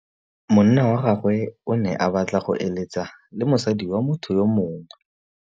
Monna wa gagwe o ne a batla go êlêtsa le mosadi wa motho yo mongwe.